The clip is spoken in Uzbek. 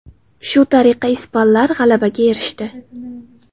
Shu tariqa ispanlar g‘alabaga erishdi.